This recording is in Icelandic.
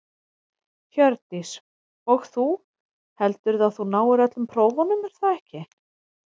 Hjördís: Og þú, heldurðu að þú náir öllum prófunum er það ekki?